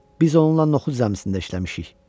Biz onunla noxud zəmisində işləmişik.